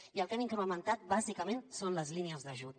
i el que hem incrementat bàsicament són les línies d’ajut